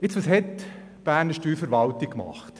Jetzt, was hat die Berner Steuerverwaltung gemacht?